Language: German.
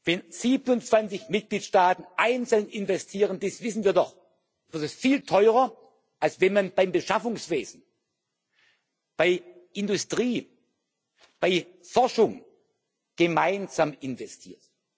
Wenn 27 Mitgliedstaaten einzeln investieren das wissen wir doch wird das viel teurer, als wenn man beim Beschaffungswesen, bei Industrie, bei Forschung gemeinsam investiert.